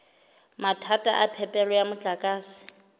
mathata a phepelo ya motlakase